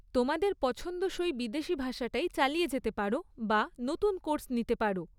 তোমাদের পছন্দসই বিদেশী ভাষাটাই চালিয়ে যেতে পারো বা নতুন কোর্স নিতে পারো।